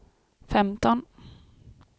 femton